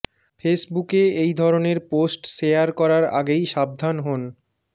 ফেসবুকে এই ধরনের পোস্ট শেয়ার করার আগেই সাবধান হোন